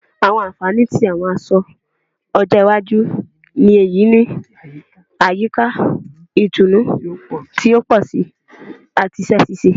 Àwọn ànfàní tí àwọn aṣọ ọjọ́ iwájú le yí ni àyíká ìtùnú ti o pọ si ati iṣẹ ṣiṣe